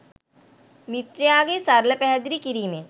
මිත්‍රයාගේ සරල පැහැදිලි කිරීමෙන්